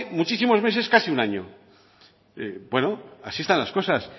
muchísimos meses casi un año bueno así están las cosas